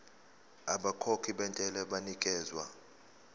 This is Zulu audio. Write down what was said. abakhokhi bentela banikezwa